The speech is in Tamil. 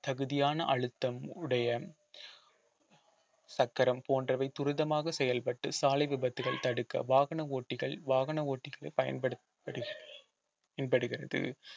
தகுதியான அழுத்தம் உடைய சக்கரம் போன்றவை துரிதமாக செயல்பட்டு சாலை விபத்துகள் தடுக்க வாகன ஓட்டிகள் வாகன ஓட்டிகள் பயன்படு~ படுகி~ பயன்படுகிறது